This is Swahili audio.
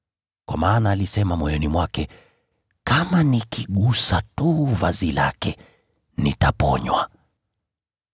kwa maana alisema moyoni mwake, “Kama nikigusa tu vazi lake, nitaponywa.”